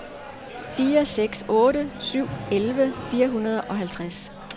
fire seks otte syv elleve fire hundrede og halvtreds